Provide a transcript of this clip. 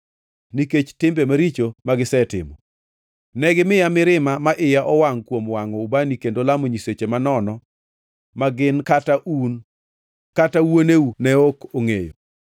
nikech timbe maricho magisetimo. Negimiya mirima ma iya owangʼ kuom wangʼo ubani kendo lamo nyiseche manono ma gin kata un kata wuoneu ne ok ongʼeyo.